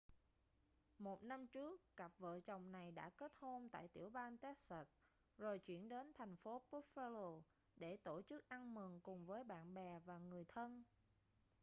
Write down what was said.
một năm trước cặp vợ chồng này đã kết hôn tại tiểu bang texas rồi chuyển đến thành phố buffalo để tổ chức ăn mừng cùng với bạn bè và người thân